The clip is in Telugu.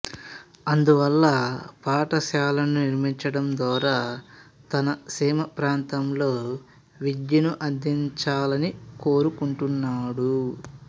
అందువల్ల పాఠశాలలను నిర్మించడం ద్వారా తన సీమ ప్రాంతంలో విద్యను అందించాలని కోరుకుంటాడు